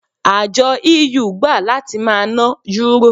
Àjọ EU gbà láti máa ná Yúrò.